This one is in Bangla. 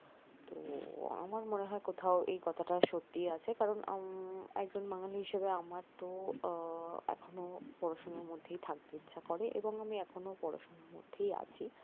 আমার মনে হয় কোথাও এই কথাটা সত্যি আছে কারন উম একজন মানুষ হিসাবে আমার তহ পড়াশোনার মধ্যেই থাকতে ইচ্ছা করে এবং আমি এখনও পড়াশোনার মধ্যেই আছি